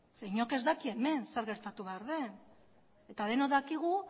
zeren inork ez daki hemen zer gertatu behar den eta denok dakigu